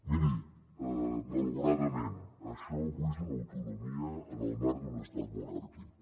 miri malauradament això avui és una autonomia en el marc d’un estat monàrquic